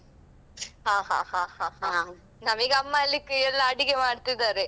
ಹ ಹ ಹ ಹ ಹ ಹ ನಮೀಗೆ ಅಮ್ಮ ಅಲ್ಲಿ ಅಹ್ ಎಲ್ಲಾ ಅಡಿಗೆ ಮಾಡ್ತಿದ್ದಾರೆ.